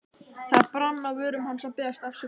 Það brann á vörum hans að biðjast afsökunar.